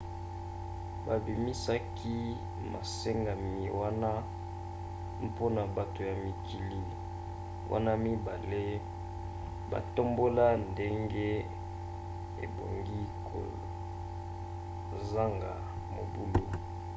babimisaki masengami wana mpona bato ya mikili wana mibale batombola ndenge ebongi kozaga mobulu